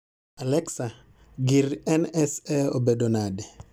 Allexa, gir N.S.A obedo nade